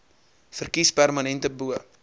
verkies permanente bo